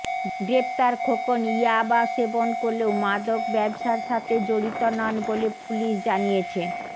গ্রেফতার খোকন ইয়াবা সেবন করলেও মাদক ব্যবসার সাথে জড়িত নন বলে পুলিশ জানিয়েছে